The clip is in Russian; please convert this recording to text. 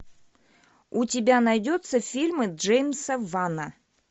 у тебя найдется фильмы джеймса вана